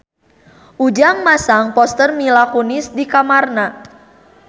Ujang masang poster Mila Kunis di kamarna